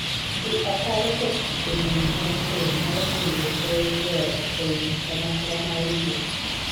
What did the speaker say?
Dhi ataro kod chike din mag keny nyalo miyo gol joot ei kanyakla mar yie.